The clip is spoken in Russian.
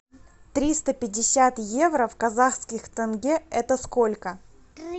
триста пятьдесят евро в казахских тенге это сколько